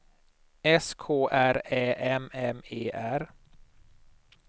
S K R Ä M M E R